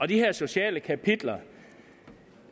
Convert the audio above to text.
de sociale kapitler